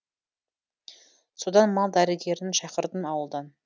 содан мал дәрігерін шақырдым ауылдан